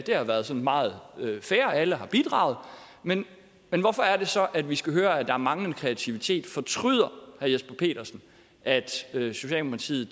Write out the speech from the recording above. har været sådan meget fair alle har bidraget men hvorfor er det så vi skal høre at der er en manglende kreativitet fortryder herre jesper petersen at socialdemokratiet